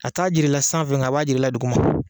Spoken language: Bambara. A t'a jira i la sanfɛ nga a b'a jira i la dugu ma.